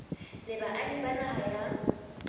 le baahi ba naha ya